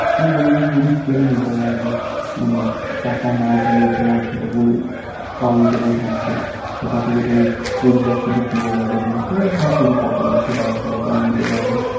তুমি কোনোকিছু জিনিস কিনে নিতে পারবে মানে টাকা না দিয়ে তোমার যেটুকুনে Coin জমে থাকবে সেটা থেকে তুমি Street Bag কিছু পেয়ে যাবে যে তোমার যা কিছু পছন্দ সেটার উপরে তুমি নিতে পারবে